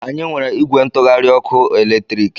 Anyị nwere ìgwè ntụgharị ọkụ eletriki.